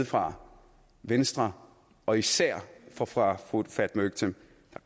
fra venstre og især fra fra fru fatma øktem